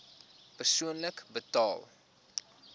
persoonlik betaal